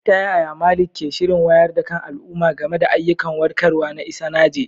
Ta yaya Malik ke shirin wayar da kan al'umma game da ayyukan warkarwa na Isanaje?